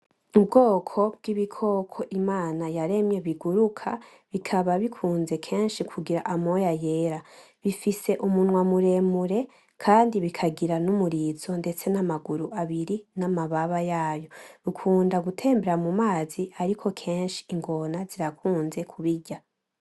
Ubwoko bw'ibikoko Imana yaremye biguruka, bikaba bikunze kugira kenshi amoya yera. Bifise umunwa muremure kandi bikagira n'umurizo n'amaguru abiri ndetse n'amababa yayo. Bikunda gutembera kenshi mumazi ariko ingona zirukunze kubirya.